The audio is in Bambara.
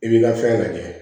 I b'i ka fɛn lajɛ